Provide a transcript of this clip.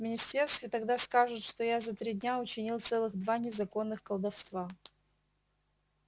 в министерстве тогда скажут что я за три дня учинил целых два незаконных колдовства